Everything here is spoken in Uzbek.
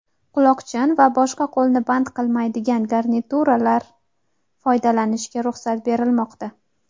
quloqchin va boshqa qo‘lni band qilmaydigan garnituralar foydalanishga ruxsat berilmoqda;.